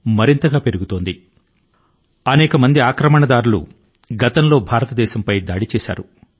శతాబ్దాలు గా అనేక మంది దౌర్జన్యం గా భారతదేశం పై దాడి చేశారు